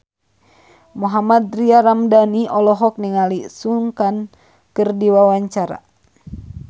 Mohammad Tria Ramadhani olohok ningali Sun Kang keur diwawancara